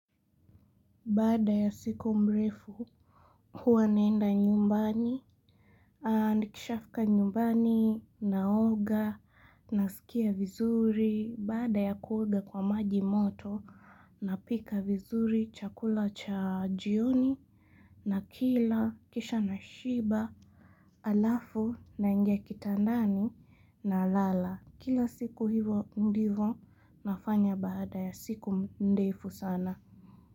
Baada ya siku mrefu, huwa naenda nyumbani, nikishafika nyumbani, naoga, nasikia vizuri, baada ya kuoga kwa maji moto, napika vizuri, chakula cha jioni, nakila, kisha nashiba, halafu, naingia kitandani, nalala. Kila siku hivo ndivo, nafanya bada ya siku ndefu sana.